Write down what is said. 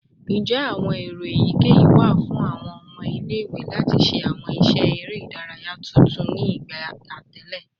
Njẹ awọn ero eyikeyi wa fun awọn ọmọ ile-iwe lati ṣe awọn iṣẹ ere idaraya tuntun ni igba atẹle?